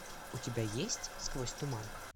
у тебя есть сквозь туман